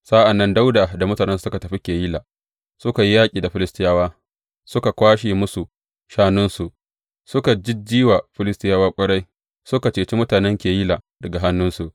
Sa’an nan Dawuda da mutanensa suka tafi Keyila, suka yi yaƙi da Filistiyawa, suka kwashe musu shanunsu, suka jijji wa Filistiyawa ƙwarai, suka cece mutanen Keyila daga hannunsu.